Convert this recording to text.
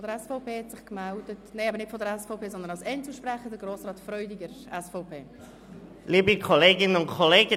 Als weiterer Einzelsprecher hat sich Grossrat Freudiger gemeldet.